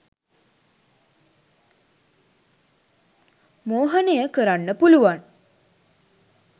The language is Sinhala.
මෝහනය කරන්න පුළුවන්